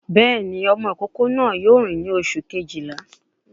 Béèni ọmọ ìkókó náà yóò ní oṣù Kejìlá